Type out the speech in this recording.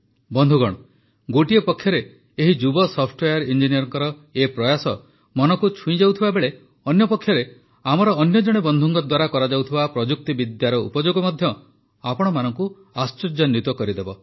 ବନ୍ଧୁଗଣ ଏକ ପକ୍ଷରେ ଏହି ଯୁବ ସଫ୍ଟୱେୟାର ଇଞ୍ଜିନିୟରଙ୍କର ଏହି ପ୍ରୟାସ ମନକୁ ଛୁଇଁଯାଉଥିବା ବେଳେ ଅନ୍ୟପକ୍ଷରେ ଆମର ଅନ୍ୟ ଜଣେ ବନ୍ଧୁଙ୍କ ଦ୍ୱାରା କରାଯାଉଥିବା ପ୍ରଯୁକ୍ତିବିଦ୍ୟାର ଉପଯୋଗ ମଧ୍ୟ ଆପଣମାନଙ୍କୁ ଆଶ୍ଚର୍ଯ୍ୟାନ୍ୱିତ କରିଦେବ